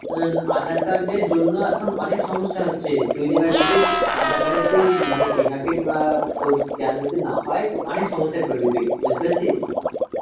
উম aadhar card এর জন্য এখন অনেক সমস্যা হচ্ছে. তুই যেবার যেতিস aadhar card এতে মানে fingerprint বা তোর scan যদি না হয় তো অনেক সমস্যায় পড়বি তুই. বুঝতে পারছিস?